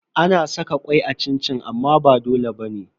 Ana saka kwai a cin-cin amma ba dole bane.